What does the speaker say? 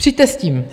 Přijďte s tím.